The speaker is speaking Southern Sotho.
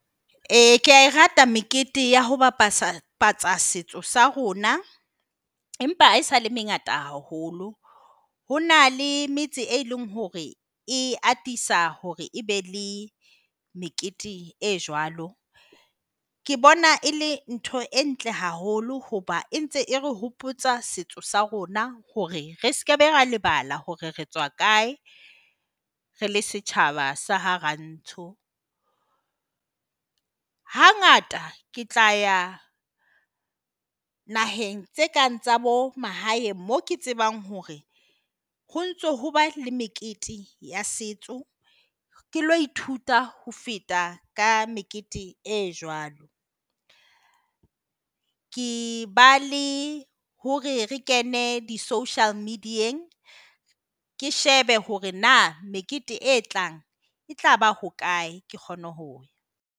E, ke a e rata mekete ya ho bapatsa tsa setso sa rona, empa haesale e mengata haholo. Ho na le metse e leng hore e atisa hore e be le mekete e jwalo. Ke bona e le ntho e ntle haholo hoba e ntse e re hopotsa setso sa rona hore re sekebe ra lebala hore re tswa kae re le setjhaba sa ha rantsho. Hangata ke tla ya naheng tse kang tsa bomahaeng, moo ke tsebang hore ho ntse ho ba le mekete ya setso ke ilo ithuta ho feta ka mekete e jwalo. Ke ba le hore re kene di-social media-eng, ke shebe hore na mekete e tlang e tlaba hokae, ke kgone ho ya.